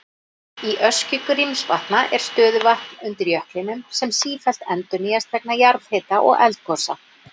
Í öskju Grímsvatna er stöðuvatn undir jöklinum sem sífellt endurnýjast vegna jarðhita og eldgosa.